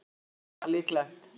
Nei, ekki er það líklegt.